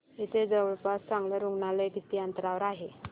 इथे जवळपास चांगलं रुग्णालय किती अंतरावर आहे